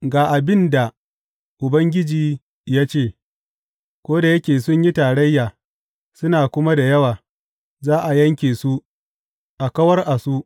Ga abin da Ubangiji ya ce, Ko da yake sun yi tarayya, suna kuma da yawa, za a yanke su, a kawar a su.